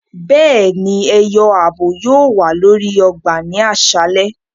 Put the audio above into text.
Béèni, ẹyọ ààbò yóò wa lórí ọgbà ni aṣalẹ